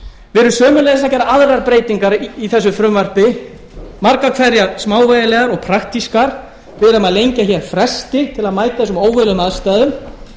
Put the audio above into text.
við erum sömuleiðis að gera aðrar breytingar á þessu frumvarpi margar hverjar smávægilegar og praktískar við erum að lengja hér fresti til að mæta þessum óvenjulegu aðstæðum